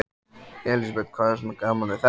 Elísabet: Hvað er svona gaman við þetta?